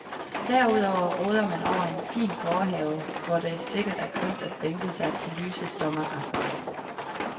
Derudover råder man over en fin gårdhave, hvor det sikkert er kønt at bænke sig på lyse sommeraftener.